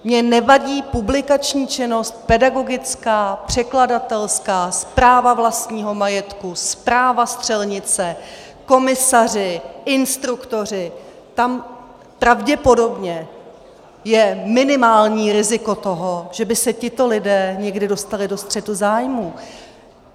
Mně nevadí publikační činnost, pedagogická, překladatelská, správa vlastního majetku, správa střelnice, komisaři, instruktoři - tam pravděpodobně je minimální riziko toho, že by se tito lidé někdy dostali do střetu zájmů.